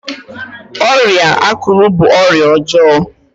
ọrịa akuru bu ọrịa ọjọọ